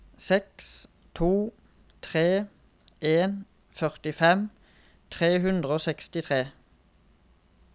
seks to tre en førtifem tre hundre og sekstitre